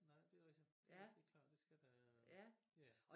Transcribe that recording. Nej det rigtig det klart det skal der ja